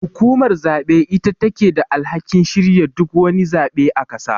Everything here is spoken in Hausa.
Hukumar zabe ita take da alhakin shirya duk wani zabe a ƙasa.